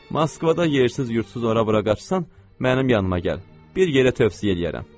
Moskvada yersiz yurdsuz ora-bura qaçsan, mənim yanıma gəl, bir yerə tövsiyə eləyərəm.